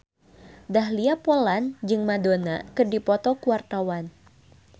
Dahlia Poland jeung Madonna keur dipoto ku wartawan